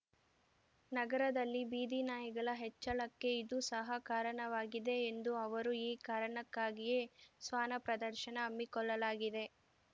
ನಗರದಲ್ಲಿ ಬೀದಿನಾಯಿಗಳ ಹೆಚ್ಚಳಕ್ಕೆ ಇದೂ ಸಹ ಕಾರಣವಾಗಿದೆ ಎಂದು ಅವರು ಈ ಕಾರಣಕ್ಕಾಗಿಯೇ ಶ್ವಾನ ಪ್ರದರ್ಶನ ಹಮ್ಮಿಕೊಳ್ಳಲಾಗಿದೆ